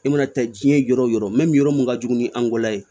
I mana taa jiɲɛ yɔrɔ o yɔrɔ yɔrɔ min ka jugu ni angula ye